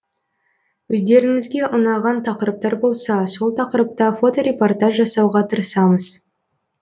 өздеріңізге ұнаған тақырыптар болса сол тақырыпта фоторепортаж жасауға тырысамыз